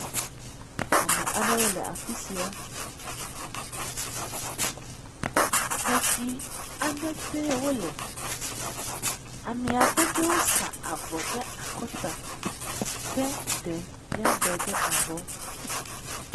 Ame aɖewo le afi sia, xexi aɖe te wole, amea ƒe ɖewo sa avɔ ɖe akɔta ke ɖe ya de ɖe abɔ.